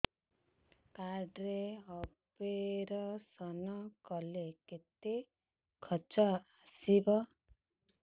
card ରେ operation କଲେ କେତେ ଖର୍ଚ ଆସିବ